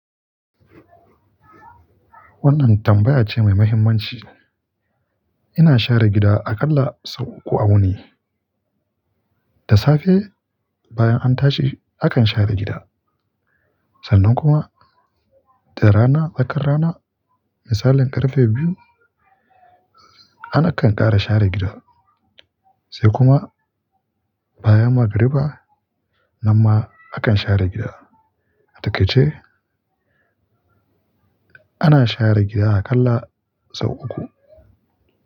Wannan tambaya ce mai muhimmanci. Ina share gida aƙalla sau uku a wuni. Da safe, bayan an tashi, akan share gida. Sannan kuma da rana, tsakar rana, misalin ƙarfe biyu, ana ƙanƙara share gida. Sai kuma bayan magriba, nan ma akan share gida. Atakaice, ana share gida aƙalla sau uku.